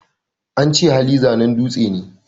Ance Hali, zanen dutse ne